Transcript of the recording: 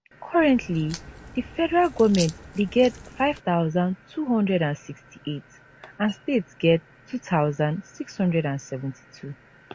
currently di federal goment dey get five thousand two hundred and sixty eight and states get two thousand six hundred and seventy two